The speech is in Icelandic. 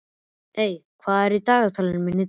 Eyveig, hvað er í dagatalinu mínu í dag?